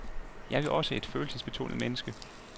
Jeg er jo også et følelsesbetonet menneske.